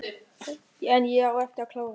En ég á eftir að klára.